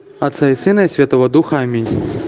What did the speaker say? отца и сына и святого духа аминь